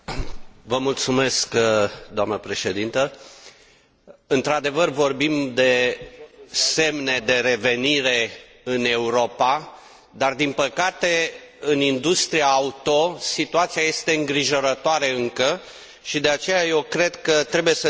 Doamnă președintă, într adevăr, vorbim de semne de revenire în Europa, dar, din păcate, în industria auto situația este îngrijorătoare încă și, de aceea, eu cred că trebuie să trimitem un semnal clar